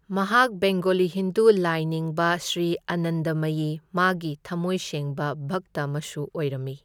ꯃꯍꯥꯛ ꯕꯦꯡꯒꯣꯂꯤ ꯍꯤꯟꯗꯨ ꯂꯥꯢꯅꯤꯡꯕ ꯁ꯭ꯔꯤ ꯑꯥꯅꯟꯗꯃꯌꯤ ꯃꯥꯒꯤ ꯊꯝꯃꯣꯏ ꯁꯦꯡꯕ ꯚꯛꯇ ꯑꯃꯁꯨ ꯑꯣꯏꯔꯝꯃꯤ꯫